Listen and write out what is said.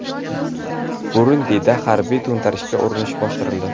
Burundida harbiy to‘ntarishga urinish bostirildi.